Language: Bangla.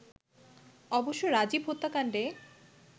অবশ্য রাজীব হত্যাকাণ্ডে